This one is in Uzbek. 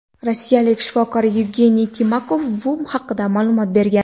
Rossiyalik shifokor Yevgeniy Timakov bu haqda ma’lumot bergan.